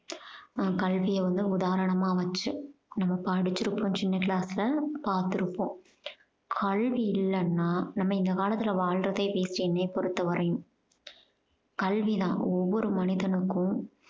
நம் கல்விய வந்து உதாரணமா வச்சு. நம்ம படிச்சிருப்போம் சின்ன class ல பாத்திருப்போம். கல்வி இல்லன்னா நம்ம இந்த காலத்துல வாழுறதே waste என்னைய பொறுத்த வரையும் கல்வி தான் ஒவ்வொரு மனிதனுக்கும்